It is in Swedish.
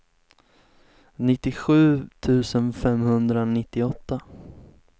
nittiosju tusen femhundranittioåtta